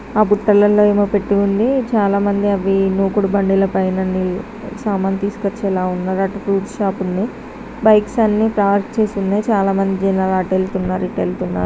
అటు పెట్టి ఉంది. చాలా మంది అవి మూకుడు బండిలపైన ఉన్నవి సామాను తీసుకొచ్చేలా ఉన్నారు. అటు ఫ్రూట్ షాప్ ఉంది. బైక్స్ అన్ని పార్క్ చేసి ఉన్నాయి. చాలామంది జనాలు అటు వెళ్తున్నారు ఇటు వెళ్తున్నారు.